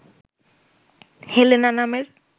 Helena নামের